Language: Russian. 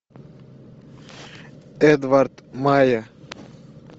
эдвард майя